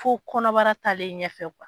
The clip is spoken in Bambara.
Fo kɔnɔbara talen ɲɛfɛ